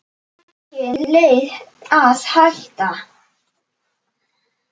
Engin leið að hætta.